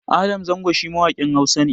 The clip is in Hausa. Adam Zango shi mawaƙin Hausa ne